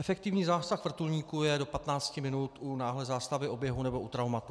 Efektivní zásah vrtulníků je do 15 minut u náhlé zástavy oběhu nebo u traumatu.